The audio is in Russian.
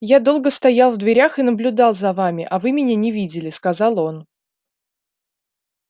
я долго стоял в дверях и наблюдал за вами а вы меня не видели сказал он